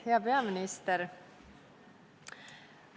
Hea peaminister!